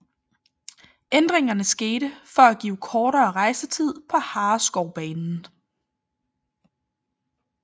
Ændringen skete blandt for at give kortere rejsetider på Hareskovbanen